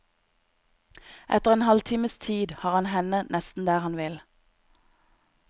Etter en halv times tid har han henne nesten der han vil.